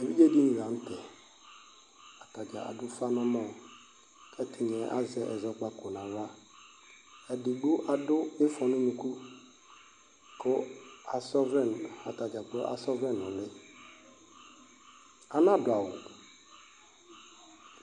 Evidzedini la nu tɛ atadza adu ufa nu ɛmɔ ɛdini azɛ ɛzɔkpako nu aɣla edigbo adu ifɔ nu unuku ku asaɔvlɛ atadza kplo asa ɔvlɛ nu uli ana du awu